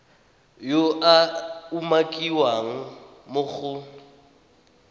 yo a umakiwang mo go